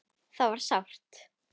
Það var sárt.